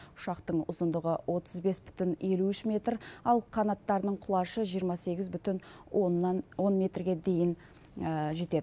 ұшақтың ұзындығы отыз бес бүтін елу үш метр ал қанаттарының құлашы жиырма сегіз бүтін оннан он метрге дейін жетеді